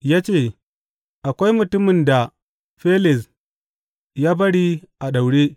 Ya ce, Akwai mutumin da Felis ya bari a daure.